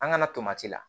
An ka na tomati la